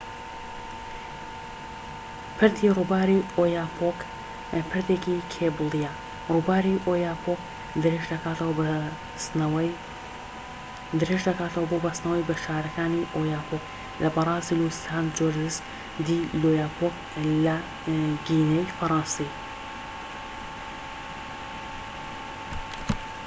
پردی ڕووباری ئۆیاپۆک پردێکی کێبڵیە ڕوباری ئۆیاپۆک درێژ دەکاتەوە بۆ بەستنەوەی بە شارەکانی ئۆیاپۆک لە بەرازیل و سانت جۆرجس دی لۆیاپۆک لە گینەی فەرەنسی